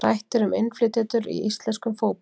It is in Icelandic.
Rætt er um innflytjendur í íslenskum fótbolta.